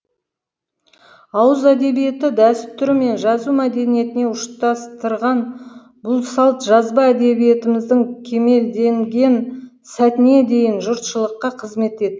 ауыз әдебиеті дәстүрі мен жазу мәдениетіне ұштастырған бұл салт жазба әдебиетіміздің кемелденген сәтіне дейін жұртшылыққа қызмет етті